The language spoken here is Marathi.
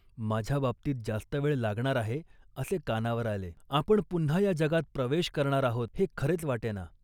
माझ्याबाबतीत जास्त वेळ लागणार आहे असे कानावर आले. आपण पुन्हा या जगात प्रवेश करणार आहोत, हे खरेच वाटेना